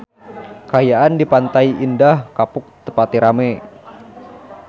Kaayaan di Pantai Indah Kapuk teu pati rame